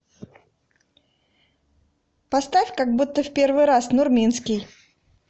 поставь как будто в первый раз нурминский